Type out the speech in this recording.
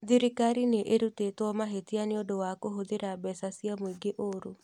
Thirikarĩ nĩ ĩrutĩtwo mahĩtia nĩũndũ wa kũhũthĩra mbeca cia mũingĩ ũru